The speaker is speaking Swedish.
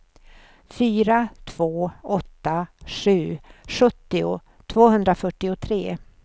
fyra två åtta sju sjuttio tvåhundrafyrtiotre